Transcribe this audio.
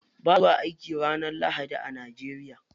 Ba'a zuwa aiki ranar lahadi a Najeriya.